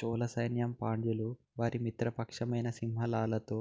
చోళసైన్యం పాండ్యులు వారి మిత్రపక్షమైన సింహళాలతో